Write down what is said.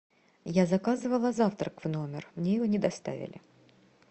я заказывала завтрак в номер мне его не доставили